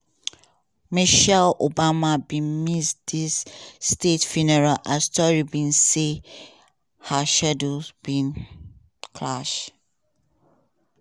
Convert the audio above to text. michelle obama bin miss dis state funeral as tori be say her schedules bin clash.